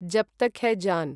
जब् तक् है जान्